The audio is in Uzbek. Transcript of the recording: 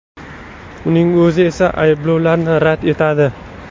Uning o‘zi esa ayblovlarni rad etadi.